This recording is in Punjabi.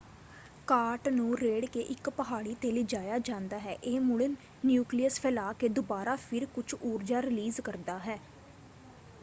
ਕਾਰਟ ਨੂੰ ਰੇੜ੍ਹ ਕੇ ਇੱਕ ਪਹਾੜੀ ‘ਤੇ ਲਿਜਾਇਆ ਜਾਂਦਾ ਹੈ। ਇਹ ਮੁੜ ਨਿਊਕਲੀਅਸ ਫੈਲਾ ਕੇ ਦੁਬਾਰਾ ਫਿਰ ਕੁਝ ਊਰਜਾ ਰੀਲੀਜ਼ ਕਰਦਾ ਹੈ।